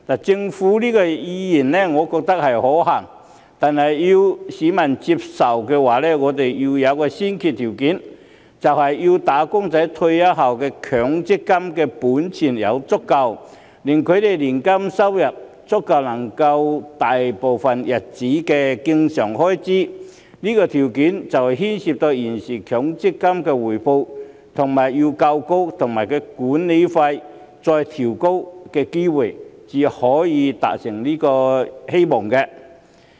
政府這個意願，我覺得是可行的，但要市民接受的話，我們要有一個先決條件，就是要"打工仔"在退休後的強積金本錢足夠，令他們的年金收入足以應付他們大部分日子的經常開支，這個條件牽涉到現時強積金的回報率要夠高，以及其管理費要再調低，才有機會可以達成希望。